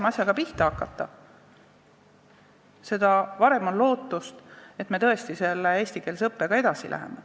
Mida varem pihta hakata, seda rohkem on lootust, et me tõesti eestikeelse õppega edasi läheme.